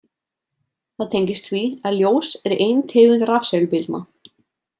Það tengist því að ljós er ein tegund rafsegulbylgna.